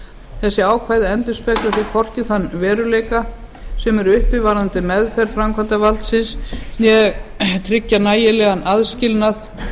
þessi ákvæði endurspegla því hvorki þann veruleika sem er uppi varðandi meðferð framkvæmdarvaldsins né tryggja nægilega aðskilnað